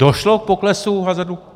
Došlo k poklesu hazardu?